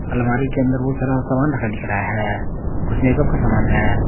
अलमारी के अंदर बहुत सारा सामान का दिख रहा है कुछ मेकअप का समान है।